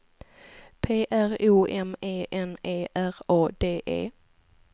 P R O M E N E R A D E